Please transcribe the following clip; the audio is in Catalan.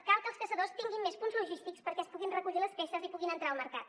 cal que els caçadors tinguin més punts logístics perquè es puguin recollir les peces i puguin entrar al mercat